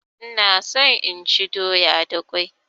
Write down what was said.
Ina so inchi doya da kwai